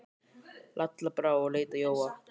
Lalla brá og leit á Jóa.